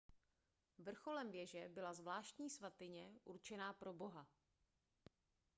vrcholem věže byla zvláštní svatyně určená pro boha